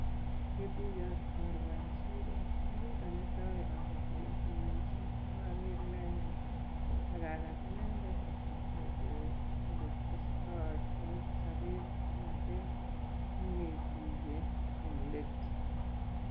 Ngetuiye ak chorwa en siro, ko kit netai abaibaitu mising ye kaager inendet ak agat inendet ak ateben inendet oletestotoi taa en sobet kong'eten kingetuiye en let.